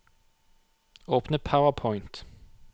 Åpne PowerPoint